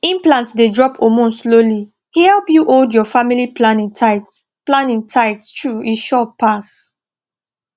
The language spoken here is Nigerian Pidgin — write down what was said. implant dey drop hormone slowly e help you hold your family planning tight planning tight true e sure pass